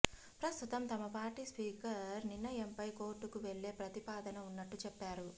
ప్రస్తుతం తమ party speaker నిర్ణయంపై కోర్టుకు వెళ్లే ప్రతిపాదన ఉన్నట్టు చెప్పారు